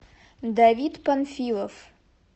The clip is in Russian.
давид панфилов